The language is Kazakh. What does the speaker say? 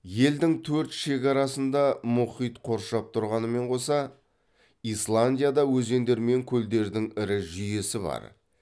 елдің төрт шекарасын да мұхит қоршап тұрғанымен қоса исландияда өзендер мен көлдердің ірі жүйесі бар